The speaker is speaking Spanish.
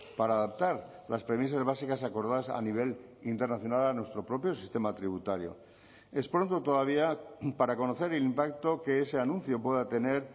para adaptar las premisas básicas acordadas a nivel internacional a nuestro propio sistema tributario es pronto todavía para conocer el impacto que ese anuncio pueda tener